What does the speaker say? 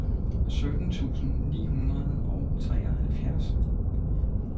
sytten tusind ni hundrede og treoghalvtreds